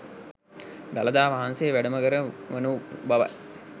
දළදා වහන්සේ වැඩම කර වනු බවයි.